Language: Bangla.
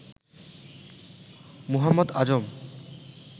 মোহাম্মদ আজম